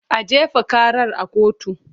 A jefa karar a kotu!